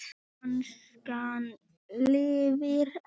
Danskan lifir enn!